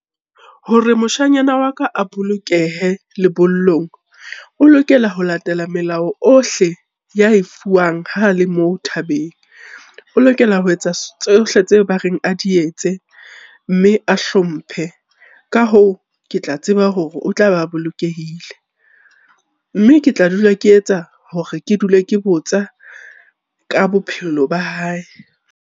Hore moshanyana wa ka a bolokehe lebollong, o lokela ho latela melao ohle ya e fuwang ha le moo thabeng, o lokela ho etsa tsohle tseo ba reng a di etse mme a hlomphe. Ka hoo, ke tla tseba hore o tla ba bolokehile. Mme ke tla dula ke etsa hore ke dule ke botsa ka bophelo ba hae.